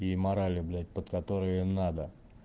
и морали блять под которые надо